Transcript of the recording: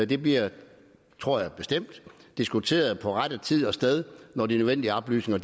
det bliver tror jeg bestemt diskuteret på rette tid og sted når de nødvendige oplysninger